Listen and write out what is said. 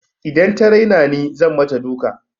Idan ta raina ni zan mata duka.